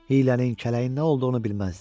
Hiylənin, kələyin nə olduğunu bilməzdi.